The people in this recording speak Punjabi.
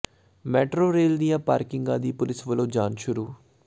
ਮੈਟਰੋ ਰੇਲ ਦੀਆਂ ਪਾਰਕਿੰਗਾਂ ਦੀ ਪੁਲਿਸ ਵੱਲੋਂ ਜਾਂਚ ਸ਼ੁਰੂ